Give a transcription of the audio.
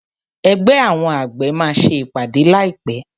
Ẹgbẹ́ àwọn àgbẹ̀ máa ṣe ìpàdé láì pé.